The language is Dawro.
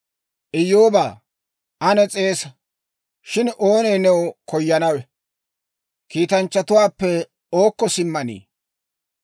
«Iyyoobaa, ane s'eesa! Shin oonee new koyanawe? Kiitanchchatuwaappe ookko simmanii?